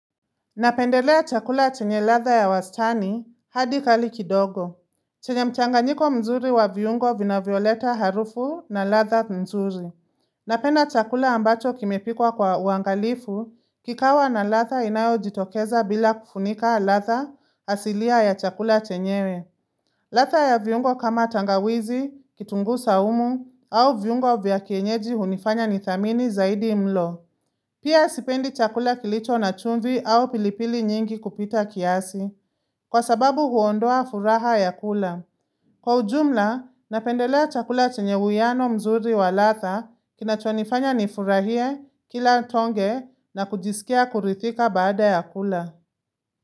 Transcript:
Napendelea chakula chenye ladha ya wastani hadi kali kidogo. Chenye mchanganyiko mzuri wa viungo vinavyoleta harufu na ladha mzuri. Napenda chakula ambacho kimepikwa kwa uangalifu, kikawa na ladha inayojitokeza bila kufunika ladha asilia ya chakula chenyewe. Ladha ya viungo kama tangawizi, kitunguu saumu au viungo vya kienyeji hunifanya nidhamini zaidi mlo. Sipendi chakula kilicho na chumvi au pilipili nyingi kupita kiasi. Kwa sababu huondoa furaha ya kula. Kwa ujumla, napendelea chakula chenye uwiano mzuri wa ladha kinachonifanya nifurahie kila tonge na kujisikia kuridhika baada ya kula.